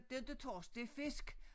Det inte torsk det er fisk